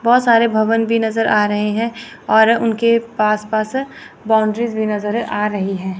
बहोत सारे भवन भी नजर आ रहे है और उनके पास पास बाउंड्रीज भी नजर आ रही है।